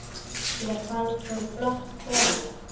Mér fannst hún flott kona.